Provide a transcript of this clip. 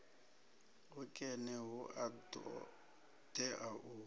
hukene hu a ṱoḓea u